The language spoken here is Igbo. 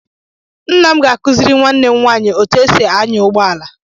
Nna m ga-akụziri nwanne m nwaanyị otú e si anyà ụgbọala.